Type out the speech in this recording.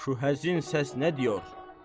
Şu həzin səs nə deyir?